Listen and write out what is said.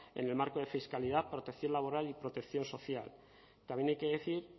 en el marco de fiscalidad protección laboral y protección social también hay que decir